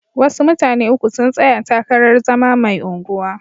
Wasu mutane uku sun tsaya takarar zama mai unguwa.